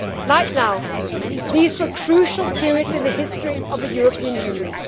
Like now, these were crucial periods in the history of the European Union.